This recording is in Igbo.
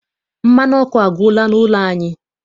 Mmanụ ọkụ agwụla n'ụlọ anyị.